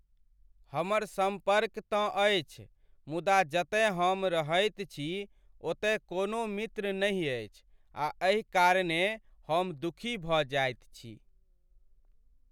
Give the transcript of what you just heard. हमर सम्पर्क तँ अछि मुदा जतय हम रहैत छी ओतय कोनो मित्र नहि अछि आ एहि कारणेँ हम दुःखी भऽ जाइत छी।